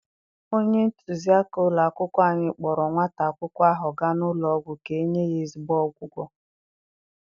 Onye ntụziaka ụlọ akwụkwọ anyị kpọọrọ nwata akwụkwọ ahụ gaa n'ụlọ ọgwụ ka-enye ya ezigbo ọgwụgwọ.